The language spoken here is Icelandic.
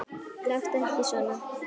Láttu ekki svona!